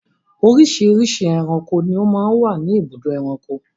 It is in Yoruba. Oríṣiríṣi ẹranko ni ó máa ń wà ní ibùdó ẹranko.